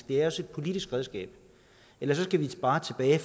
det er også et politisk redskab ellers skal vi bare tilbage